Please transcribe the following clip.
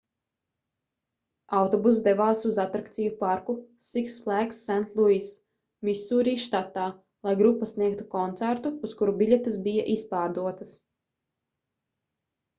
autobuss devās uz atrakciju parku six flags st louis misūri štatā lai grupa sniegtu koncertu uz kuru biļetes bija izpārdotas